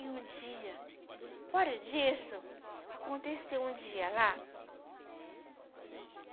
E um dia, fora disso, aconteceu um dia lá.